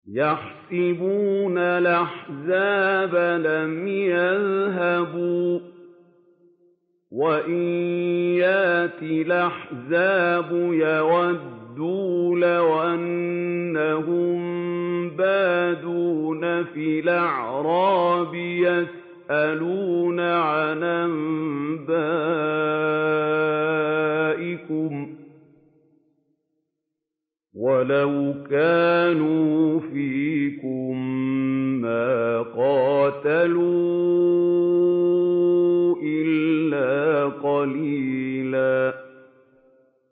يَحْسَبُونَ الْأَحْزَابَ لَمْ يَذْهَبُوا ۖ وَإِن يَأْتِ الْأَحْزَابُ يَوَدُّوا لَوْ أَنَّهُم بَادُونَ فِي الْأَعْرَابِ يَسْأَلُونَ عَنْ أَنبَائِكُمْ ۖ وَلَوْ كَانُوا فِيكُم مَّا قَاتَلُوا إِلَّا قَلِيلًا